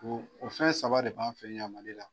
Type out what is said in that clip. Ko o fɛn saba de b'an fɛn yan Ma!i la.